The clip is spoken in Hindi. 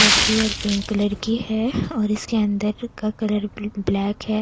कलर की है और पिंक कलर की है और इसके अंदर का कलर ब्लैक है।